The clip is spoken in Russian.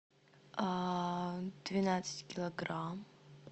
двенадцать килограмм